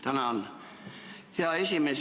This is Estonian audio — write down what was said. Tänan, hea aseesimees!